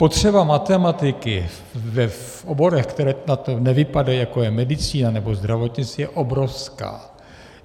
Potřeba matematiky v oborech, které na to nevypadají, jako je medicína nebo zdravotnictví, je obrovská.